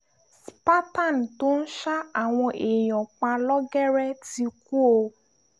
spartan tó ń ṣa àwọn èèyàn pa lọ́gẹ́rẹ́ ti kú o